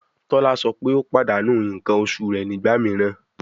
Tola sọ pe o padanu nkan oṣu rẹ nigba miiran